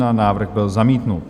Návrh byl zamítnut.